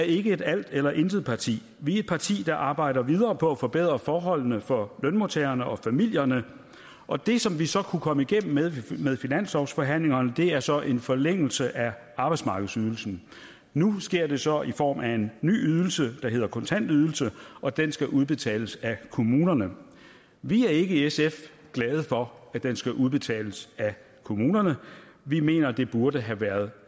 ikke er et alt eller intet parti vi er et parti der arbejder videre på at forbedre forholdene for lønmodtagerne og familierne og det som vi så kunne komme igennem med ved finanslovsforhandlingerne er så en forlængelse af arbejdsmarkedsydelsen nu sker det så i form af en ny ydelse der hedder kontantydelse og den skal udbetales af kommunerne vi er ikke i sf glade for at den skal udbetales af kommunerne vi mener det burde have været